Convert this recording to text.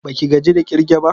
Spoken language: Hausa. Baki gaji da kirge ba?